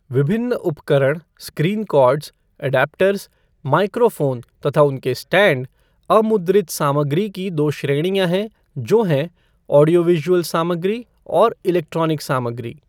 विभिन्न उपकरण, screen cords, adapters, microphone तथा उनके स्टैंड, अमुद्रित सामग्री की दो श्रेणियाँ हैं जो हैं, ऑडियो विज़ुअल सामग्री और इलैक्ट्रोनिक सामग्री।